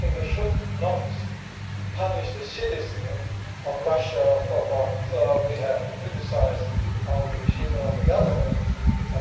I think we should not punish the citizens of Russia for what we have to criticise the regime and government for